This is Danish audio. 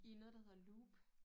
I noget der hedder Loop